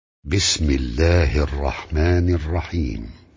بِسْمِ اللَّهِ الرَّحْمَٰنِ الرَّحِيمِ